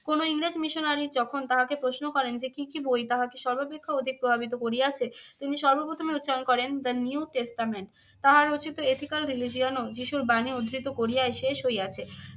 কোনো ইংরেজ missionary যখন তাহাকে প্রশ্ন করেন যে কী কী বই তাহাকে সর্বাপেক্ষা অধিক প্রভাবিত করিয়াছে? তিনি সর্বপ্রথম উচ্চারণ করেন দা নিউ টেস্টামেন্ট। তাহার রচিত এথিক্যাল রিলিজিয়ানও যীশুর বাণী উদ্ধৃত করিয়াই শেষ হইয়াছে।